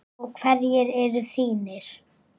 Og hverjir eru þínir?